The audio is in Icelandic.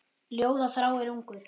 Ljóða þráir ungur.